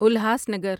الہاس Nagar